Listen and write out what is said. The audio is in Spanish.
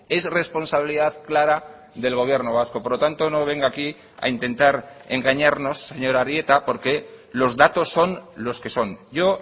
es responsabilidad clara del gobierno vasco por lo tanto no venga a aquí a intentar engañarnos señor arieta porque los datos son los que son yo